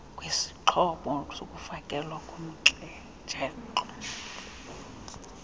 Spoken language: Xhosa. wesixhobo sokufakelwa komjelo